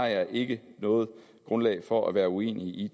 jeg ikke noget grundlag for at være uenig i